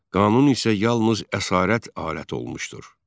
qanun isə yalnız əsarət aləti olmuşdur.